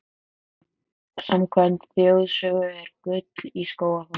Samkvæmt þjóðsögu er gull í Skógafossi.